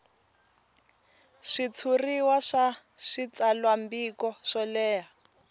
switshuriwa swa switsalwambiko swo leha